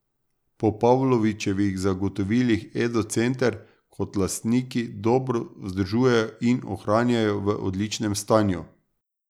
Po Pavlovičevih zagotovilih Edo center kot lastniki dobro vzdržujejo in ohranjajo v odličnem stanju.